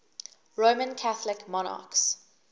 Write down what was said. roman catholic monarchs